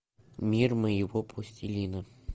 мир моего пластилина